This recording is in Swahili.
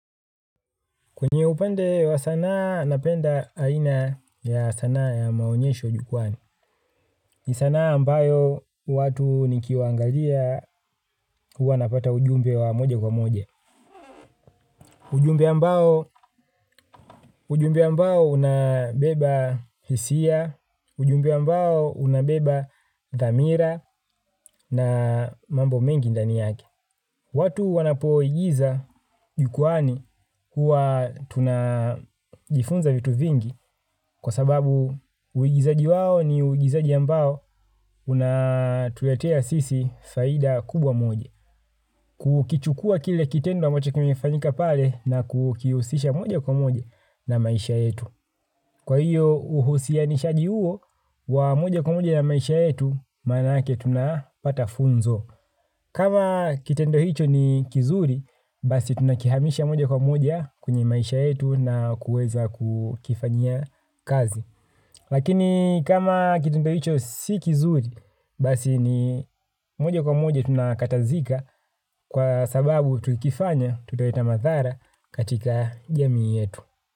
Kwenye upande wa sanaa napenda aina ya sanaa ya maonyesho jukwani. Ni sanaa ambayo watu nikiwaangalia huwa napata ujumbe wa moja kwa moja ujumbe ambao ujumbe ambao unabeba hisia, ujumbe ambao unabeba dhamira na mambo mengi ndani yake. Watu wanapo igiza jukuani huwa tuna jifunza vitu vingi kwa sababu uigizaji wao ni uigizaji ambao unatuletea sisi faida kubwa moja. Kukichukua kile kitendo ambacho kimefanyika pale na kukihusisha moja kwa moja na maisha yetu. Kwa hiyo uhusia nishaji huo wa moja kwa moja na maisha yetu manake tunapata funzo. Kama kitendo hicho ni kizuri, basi tunakihamisha moja kwa moja kwenye maisha yetu na kuweza kukifanya kazi. Lakini kama kitendo hicho si kizuri, basi ni moja kwa moja tunakatazika kwa sababu tukifanya tutaleta mathara katika jamii yetu.